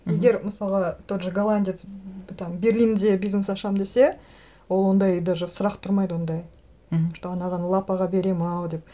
мхм егер мысалға тот же голландец там берлинде бизнес ашамын десе ол ондай даже сұрақ тұрмайды ондай мхм что анаған лапаға беремін ау деп